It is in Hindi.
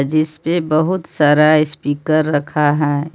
जिस पे बहुत सारा स्पीकर रखा है।